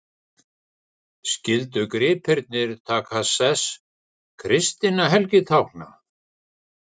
Skyldu gripirnir taka sess kristinna helgitákna.